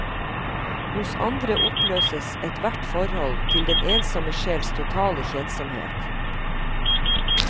Hos andre oppløses ethvert forhold til den ensomme sjels totale kjedsomhet.